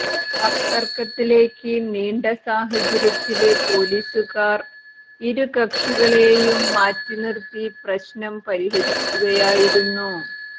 വാക്തര്ക്കത്തിലേക്ക് നീണ്ട സാഹചര്യത്തില് പൊലീസുകാര് ഇരുകക്ഷികളെയും മാറ്റിനിര്ത്തി പ്രശ്നം പരിഹരിക്കുകയായിരുന്നു